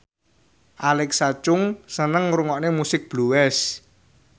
Alexa Chung seneng ngrungokne musik blues